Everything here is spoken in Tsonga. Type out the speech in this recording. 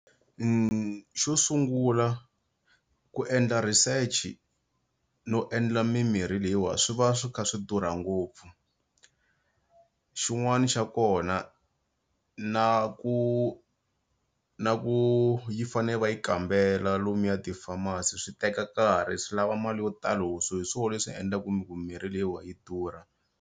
Xo sungula ku endla research no endla mimirhi leyiwa swi va swi kha swi durha ngopfu xin'wani xa kona na ku na ku yi fane va yi kambela lomuya ti-pharmacy swi teka nkarhi swi lava mali yo talo so hi swo leswi endlaku mi ku mirhi leyiwa yi durha.